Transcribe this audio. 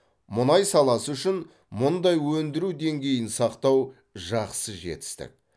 мұнай саласы үшін мұндай өндіру деңгейін сақтау жақсы жетістік